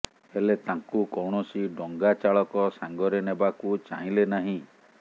ହେଲେ ତାଙ୍କୁ କୌଣସି ଡଙ୍ଗାଚାଳକ ସାଙ୍ଗରେ ନେବାକୁ ଚାହିଁଲେ ନାହିଁ